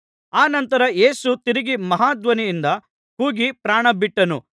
ಅನಂತರ ಯೇಸು ತಿರುಗಿ ಮಹಾ ಧ್ವನಿಯಿಂದ ಕೂಗಿ ಪ್ರಾಣಬಿಟ್ಟನು